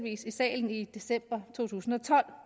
i salen i december to tusind og tolv